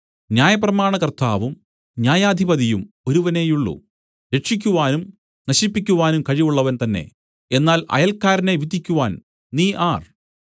ന്യായപ്രമാണകർത്താവും ന്യായാധിപതിയും ഒരുവനേയുള്ളു രക്ഷിയ്ക്കുവാനും നശിപ്പിക്കുവാനും കഴിവുള്ളവൻ തന്നെ എന്നാൽ അയൽക്കാരനെ വിധിക്കുവാൻ നീ ആർ